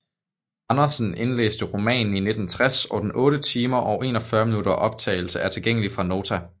Andersen indlæste romanen i 1960 og den 8 timer og 41 minutter optagelse er tilgængelig fra Nota